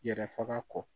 Yɛrɛ faga kɔ